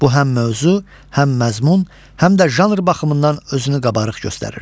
Bu həm mövzu, həm məzmun, həm də janr baxımından özünü qabarıq göstərirdi.